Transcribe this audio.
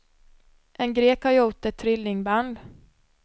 En grek har gjort ett trillingband.